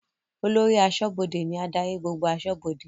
Olórí aṣọ́bọdè ní adarí gbogbo aṣọ́bọdè